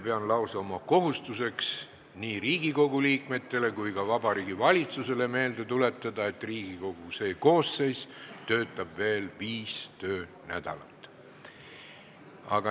Pean lausa oma kohustuseks nii Riigikogu liikmetele kui ka Vabariigi Valitsusele meelde tuletada, et Riigikogu see koosseis töötab veel viis töönädalat.